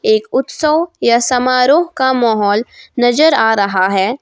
एक उत्सव या समारोह का माहौल नजर आ रहा है।